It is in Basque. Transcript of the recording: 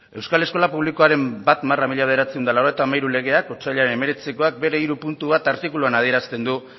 euskal eskola publikoaren bat barra mila bederatziehun eta laurogeita hamairu legeak otsailaren hemeretzikoak bere hiru puntu bat artikuluan adierazten du